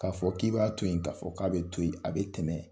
K'a fɔ k'i b'a to yen, k'a fɔ k'a bɛ to yen. A bɛ tɛmɛ